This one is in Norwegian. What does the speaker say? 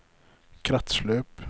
kretsløp